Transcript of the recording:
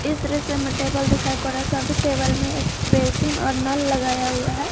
इस दृश्य में टेबल दिखाई पड़ा सभी टेबल में एक बेसिन और नल लगाया हुआ है।